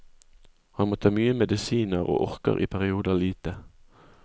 Han må ta mye medisiner og orker i perioder lite.